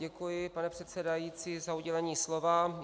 Děkuji, pane předsedající, za udělení slova.